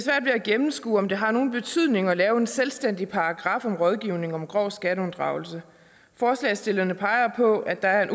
at gennemskue om det har nogen betydning at lave en selvstændig paragraf om rådgivning om grov skatteunddragelse forslagsstillerne peger på at der er